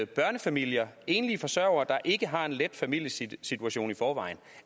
børnefamilier enlige forsørgere der ikke har en let familiesituation i forvejen